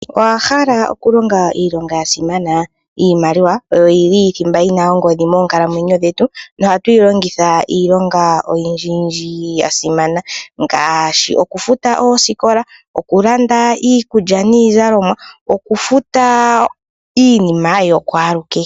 Owahala okulonga iilonga yashimana iimaliwa oyo yili thimba yina oongodhi moonkalamweyo dhetu nohatu yi longitha iilonga oyindji yindji ya simana ngaashi okufuta oosikola, okulanda iikulwa niizalomwa nokufuta iinima yokwalukehe.